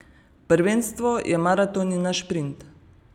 Prvenstvo je maraton in ne šprint.